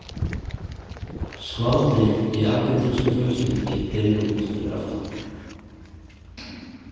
Skvaldrið í argentínsku fjölskyldunni deyr út fyrir aftan okkur.